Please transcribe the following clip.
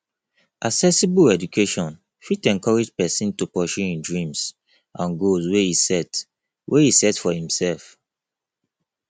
accessible education fit encourage persin to pursue im dreams and goals wey e set wey e set for imself